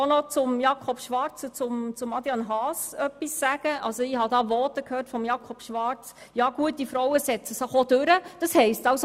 Zu der Grossräten Schwarz und Haas: Ich habe im Votum von Grossrat Schwarz gehört, gute Frauen würden sich auch durchsetzen.